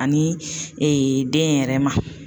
Ani den yɛrɛ ma